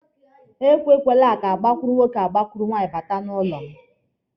E kwekwala ka gbakụrụ nwoke gbakụrụ nwaanyị bata n'ụlọ m!